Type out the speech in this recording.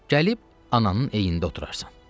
Gəlib ananın eyində oturarsan.